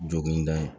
Jogilen da ye